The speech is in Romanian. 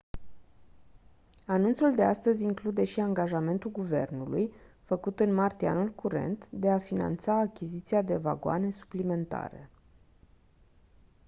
anunțul de astăzi include și angajamentul guvernului făcut în martie anul curent de a finanța achiziția de vagoane suplimentare